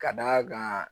Ka d'a kan